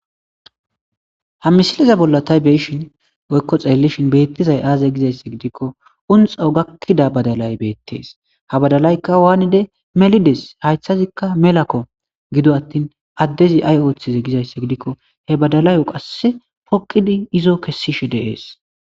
Ha missileza bolla ta beyashshen woyikko ta xelashshin bettizayiss aze gizayissa gidikko qunxo gaakidda badalay bettes ha badalayikka melides hayiththazikka melakko gido atin adezi ayi oththize gizayissa gidikko he badalayo poqidi izo kesishshe de'es